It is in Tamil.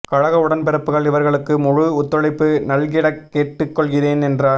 கழக உடன்பிறப்புகள் இவர்களுக்கு முழு ஒத்துழைப்பு நல்கிடக் கேட்டுக் கொள்கிறேன் என்று